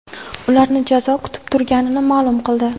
ularni jazo kutib turganini maʼlum qildi.